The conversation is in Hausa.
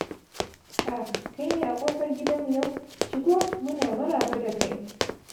Ah, kai ne a kofar gidanmu yau? Shigo, muna maraba da kai.